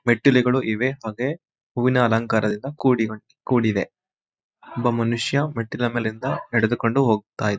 ಮೆಟ್ಟಿಲುಗಳು ಇವೆ ಮತ್ತು ಹೂವಿನ ಅಲಂಕಾರದಿಂದ ಕೂಡಿಕೋಡ್ನದು ಕೂಡಿದೆ ಒಬ್ಬ ಮನುಷ್ಯ ಮೆಟ್ಟಿಲಿನ ಮೇಲಿಂದ ನಡೆದುಕೊಂಡು ಹೋಗ್ತಾನೆ.